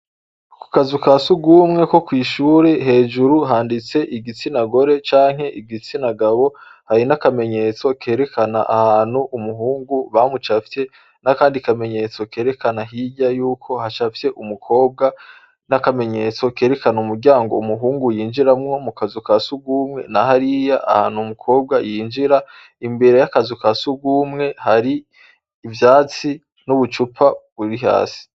Ku kazu ka siugumwe ko kw'ishuri hejuru handitse igitsinagore canke igitsina gabo hari n'akamenyetso kerekana ahantu umuhungu bamucafye n'akandi kamenyetso kerekana hirya yuko hashafye umukobwa n'akamenyetso kerekana umuryango umuhungu yinjiramwo mu kazu ka siugumwe na hariya ahantu umukobwa yinjira imbere y'akazu ka sugumwe hari ivyatsi n'ubucupa buri hasi.